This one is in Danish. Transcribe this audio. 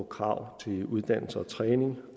krav til uddannelse og træning